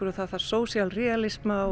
það þarf social